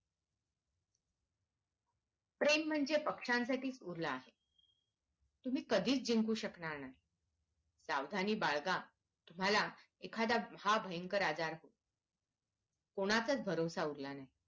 प्रेम म्हणजे पक्षांसाठीच उरलं आहे तुम्ही कधीच जिंकु शकणार नाही सावधानी बाळगा झाला एकाद्दा हा भयंकर आजार कोणाचाच भरवसा उरला नाही